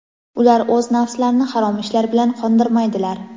Ular o‘z nafslarini harom ishlar bilan qondirmaydilar.